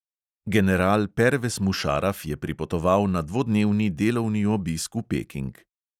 General pervez mušaraf je pripotoval na dvodnevni delovni obisk v peking.